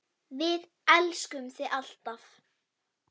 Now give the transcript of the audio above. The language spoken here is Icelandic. Við elskum þig alltaf.